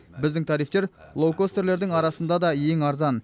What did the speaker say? біздің тарифтер лоукостерлердің арасында да ең арзан